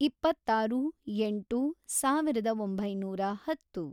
ಇಪ್ಪತ್ತಾರು ಎಂಟು ಸಾವಿರದ ಒಂಬೈನೂರ ಹತ್ತು